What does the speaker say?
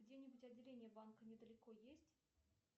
где нибудь отделение банка недалеко есть